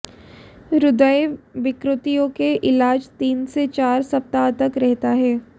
हृदय विकृतियों के इलाज तीन से चार सप्ताह तक रहता है